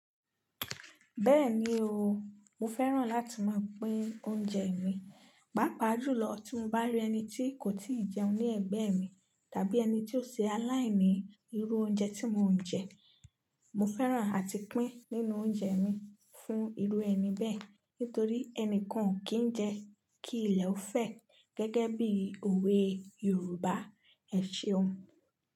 Bẹ́ẹ̀ni o, mo fẹ́ràn láti máa pín oúnjẹ mi, pàápàá jùlọ tí mo bá rí ẹni tí kò tíì jẹun ní ẹ̀gbẹ́ mi, tàbí ẹni tí ó ṣe aláìní irú oúnjẹ tí mò ń jẹ. Mo fẹ́ràn àti pín nínú oúnjẹ mi fún irú ẹni bẹ́ẹ̀, nítorí ẹnì kàn kì í jẹ kí ilẹ̀ ó fẹ́, gẹ́gẹ́ bí òwe Yorùbá ẹ̀ ṣe hun.